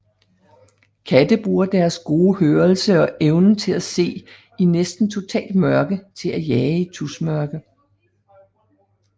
Katte bruger deres gode hørelse og evnen til at se i næsten totalt mørke til at jage i tusmørke